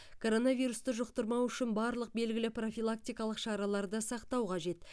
коронавирусты жұқтырмау үшін барлық белгілі профилактикалық шараларды сақтау қажет